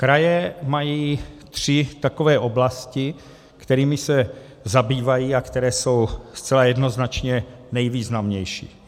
Kraje mají tři takové oblasti, kterými se zabývají a které jsou zcela jednoznačně nejvýznamnější.